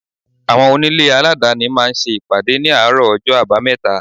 Àwọn onílé aladani máa ń ṣe ìpàdé ní àárọ̀ ọjọ́ abameta.